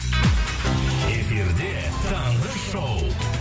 эфирде таңғы шоу